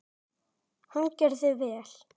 Hann gerði vel.